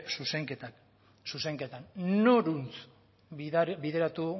zuzenketan noruntz bideratu